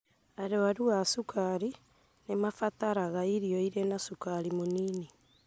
Arwaru a cukaru nĩmarabatara irio irĩ na cukari mũnini